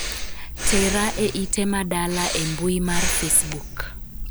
tera e ite ma dala e mbui mar facebook